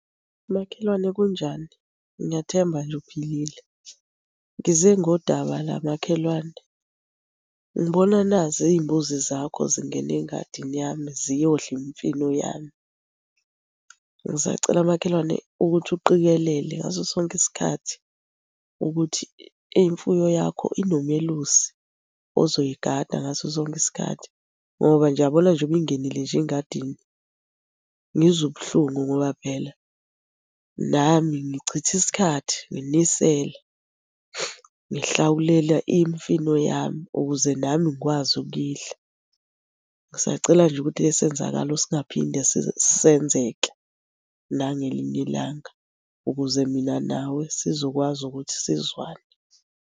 Makhelwane kunjani? Ngiyathemba nje uphilile. Ngize ngodaba la makhelwane, ngibona nazi iy'mbuzi zakho zingena engadini yami, ziyodla imfino yami. Ngisacela makhelwane ukuthi uqikelele ngaso sonke isikhathi ukuthi imfuyo yakho inomelusi ozoyigada ngaso sonke isikhathi, ngoba nje uyabona nje ngoba ingenile nje engadini, ngizwa ubuhlungu ngoba phela nami ngichithe isikhathi nginisela, ngihlawulela imfino yami ukuze nami ngikwazi ukuyidla. Ngisacela nje ukuthi le senzakalo singaphinde senzeke nangelinye ilanga ukuze mina nawe sizokwazi ukuthi sizwane.